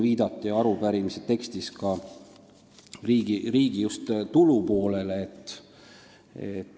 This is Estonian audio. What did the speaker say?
Arupärimise tekstis viidati ka riigi tulupoolele.